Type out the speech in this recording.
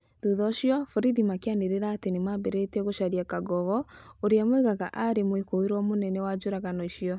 Thutha ũcio, borithi makĩanĩrĩra atĩ nĩ maambĩrĩrĩtie gũcaria Kangogo, ũrĩa moigaga atĩ arĩ mũĩkũĩrwo mũnene wa njũragano icio.